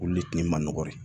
Olu le tun man nɔgɔn dɛ